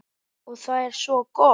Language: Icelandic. Og það er svo gott.